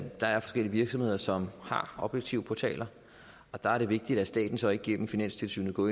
der er forskellige virksomheder som har objektive portaler og der er det vigtigt at staten så ikke igennem finanstilsynet går